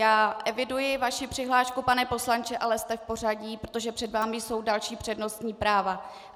Já eviduji vaši přihlášku, pane poslanče, ale jste v pořadí, protože před vámi jsou další přednostní práva.